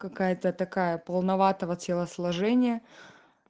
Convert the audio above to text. какая-то такая полноватого телосложения